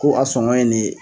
Ko a sɔngɔ ye nin ye.